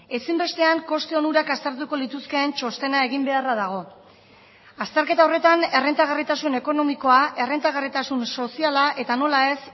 ezinbestean koste onurak aztertuko lituzkeen txostena egin beharra dago azterketa horretan errentagarritasun ekonomikoa errentagarritasun soziala eta nola ez